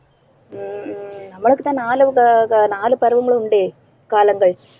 ஹம் ஹம் நம்மளுக்குத்தான் நாலு ப~ ப~ நாலு பருவங்களும் உண்டே காலங்கள்